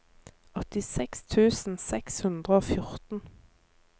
åttiseks tusen seks hundre og fjorten